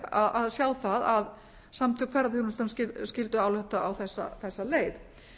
skemmtileg að sjá það að samtök ferðaþjónustunnar skyldu álykta á þessa leið